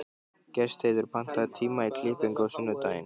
Gestheiður, pantaðu tíma í klippingu á sunnudaginn.